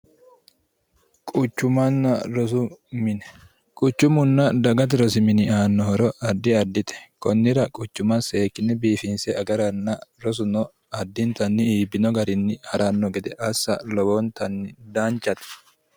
quchumanna rosu mini quchummunna dagati rosi mini aanno horo addi addite kunnira quchuma seekini biifinse agaranna rosuno addintanni iibbino garinni ha'ranno gede assa lowoontanni daanchate